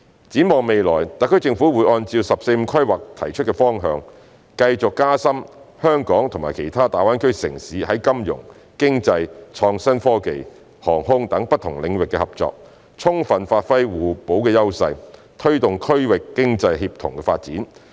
展望未來，特區政府會按照"十四五"規劃提出的方向，繼續加深香港與其他大灣區城市在金融、經貿、創新科技、航空等不同領域的合作，充分發揮互補的優勢，推動區域經濟協同發展。